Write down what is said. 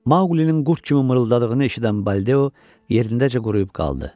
Mauqlinin qurd kimi mırıldadığını eşidən Baldeo yerindəcə quruyub qaldı.